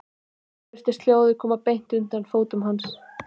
Nú virtist hljóðið koma beint undan fótum hans.